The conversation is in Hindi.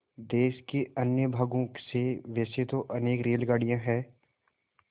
देश के अन्य भागों से वैसे तो अनेक रेलगाड़ियाँ हैं